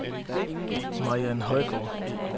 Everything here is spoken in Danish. Mariann Højgaard